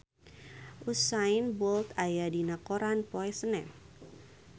Usain Bolt aya dina koran poe Senen